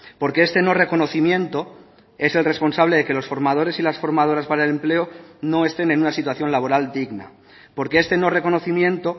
porque este no reconocimiento es el responsable de que los formadores y las formadoras para el empleo no estén en una situación laboral digna porque este no reconocimiento